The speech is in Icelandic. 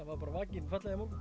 var bara vakinn fallega í morgun